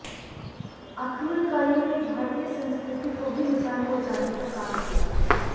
आक्रमणकारियों ने भारतीय संस्कृति को भी नुकसान पहुंचाने का काम किया